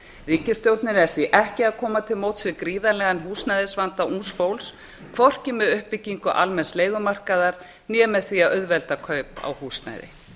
ríkisstjórnin er því ekki að koma til móts við gríðarlegan húsnæðisvanda ungs fólks hvorki með uppbyggingu almenns leigumarkaðar né með því að auðvelda kaup á húsnæði